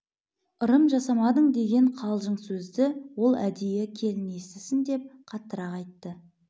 ырым жасамадың деген қалжың сөзді ол әдейі келін естісін деп қаттырақ айтты